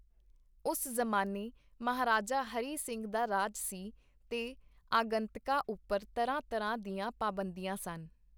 ਉਸ ਜ਼ਮਾਨੇ ਮਹਾਰਾਜਾ ਹਰੀ ਸਿੰਘ ਦਾ ਰਾਜ ਸੀ, ਤੇ ਆਗੰਤਕਾਂ ਉਪਰ ਤਰ੍ਹਾਂ-ਤਰ੍ਹਾਂ ਦੀਆਂ ਪਾਬੰਦੀਆਂ ਸਨ.